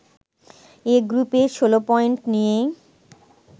এ গ্রুপে ১৬ পয়েন্ট নিয়ে